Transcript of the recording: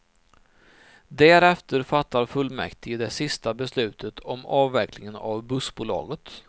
Därefter fattar fullmäktige det sista beslutet om avvecklingen av bussbolaget.